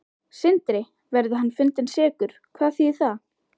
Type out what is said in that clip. Sindri: Verði hann fundinn sekur, hvað þýðir það?